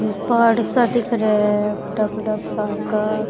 पहाड़ सा दिख रा है बड़ा बड़ा सारका।